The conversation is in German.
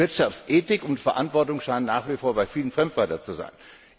Wirtschaftsethik und Verantwortung scheinen nach wie vor bei vielen Fremdwörter zu sein.